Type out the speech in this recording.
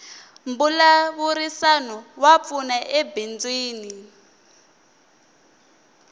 mbulavurisano wa pfuna ebindzwini